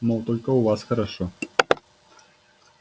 мол только у вас хорошо